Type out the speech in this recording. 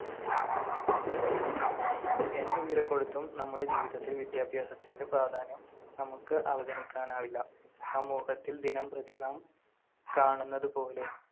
എന്ത് വില കൊടുത്തും നമ്മുടെ ജീവിതത്തിൽ വിദ്യാഭ്യാസത്തിന്‍റെ പ്രാധാന്യം നമുക്ക് അവഗണിക്കാനാവില്ല. സമൂഹത്തിൽ ദിനംപ്രതി നാം കാണുന്നതുപോലെ